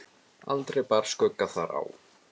Aldrei bar skugga þar á.